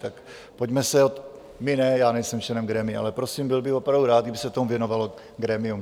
Tak pojďme se - my ne, já nejsem členem grémia - ale prosím, byl bych opravdu rád, kdyby se tomu věnovalo grémium.